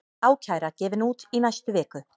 Ákæra gefin út í næstu viku